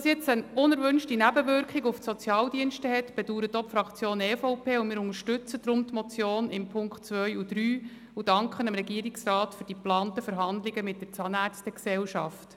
Dass dies nun eine unerwünschte Nebenwirkung auf die Sozialdienste hat, bedauert auch die Fraktion EVP, und wir unterstützen deshalb die Motion in den Punkten 2 und 3 und danken dem Regierungsrat für die geplanten Verhandlungen mit der Zahnärzte-Gesellschaft.